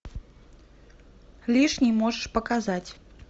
лишний можешь показать